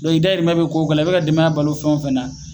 Dɔnke i dayirimɛ be ko o ko la i beka ka denbaya balo fɛn o fɛn na